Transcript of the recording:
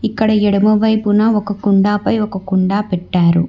ఇక్కడ ఎడమ వైపున ఒక కుండ పై ఒక కుండా పెట్టారు.